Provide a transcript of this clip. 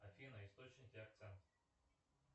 афина источники акцент